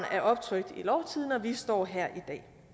er optrykt i lovtidende og vi står her i dag